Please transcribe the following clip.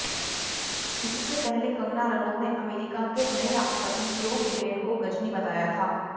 इससे पहले कंगना रनौत ने अमेरिका के नए राष्ट्रपति जो बिडेन को गजनी बताया था